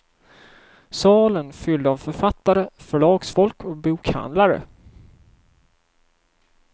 Salen fylld av författare, förlagsfolk och bokhandlare.